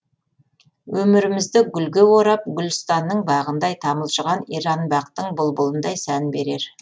өмірімізді гүлге орап гулстанның бағындай тамылжыған иранбақтың бұлбұлындай сән берер